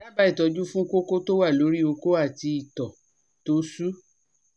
daba itoju fun koko to wa lori oko ati ito to su